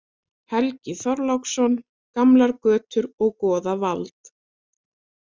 Helgi Þorláksson: Gamlar götur og goðavald.